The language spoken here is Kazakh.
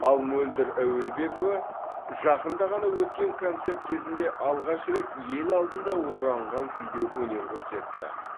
ал мөлдір әуелбекова жақында ғана өткен концерт кезінде алғаш рет ел алдында оранған күйде өнер көрсетті